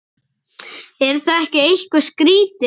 Er það ekki eitthvað skrítið?